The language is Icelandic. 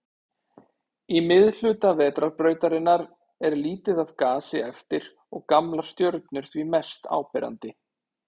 Í miðhluta Vetrarbrautarinnar er lítið af gasi eftir og gamlar stjörnur því mest áberandi.